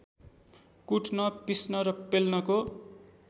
कुट्न पिस्न र पेल्नको